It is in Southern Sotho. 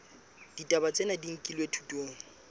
ditaba tsena di nkilwe thutong